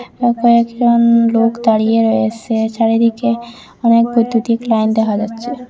এখানে কয়েকজন লোক দাঁড়িয়ে রয়েসে চারিদিকে অনেক বৈদ্যুতিক লাইন দেখা যাচ্ছে।